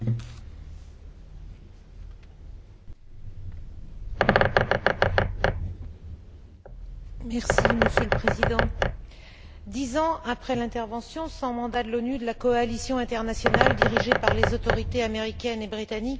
Monsieur le Président, dix ans après l'intervention, sans mandat de l'ONU, de la coalition internationale dirigée par les autorités américaines et britanniques, le moins que l'on puisse dire, c'est que l'on peut s'interroger sur les résultats concrets de cette intervention pour la population irakienne.